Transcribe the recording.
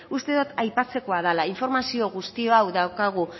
uste dot aipatzekoa dala informazio guzti hau daukagu